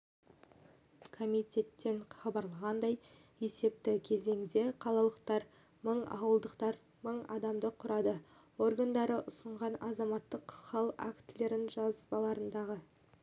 комитеттен хабарлағандай есепті кезеңде қалалықтар мың ауылдықтар мың адамды құрады органдары ұсынған азаматтық хал актілері жазбаларындағы